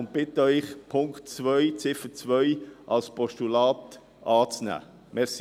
Wir bitten Sie deshalb, Ziffer 2 als Postulat anzunehmen.